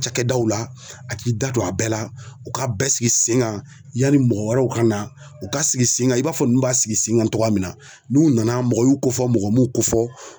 Cakɛdaw la, a k'i da don a bɛɛ la, u ka bɛɛ sigi sen ŋan yani mɔgɔ wɛrɛw ka na. U k'a sigi sen ŋan i b'a fɔ ninnu b'a sigi sen ŋan togoya min na. N'u nana mɔgɔ y'u kofɔ mɔgɔ m'u kofɔ